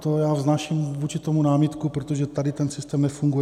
To já vznáším vůči tomu námitku, protože tady ten systém nefunguje.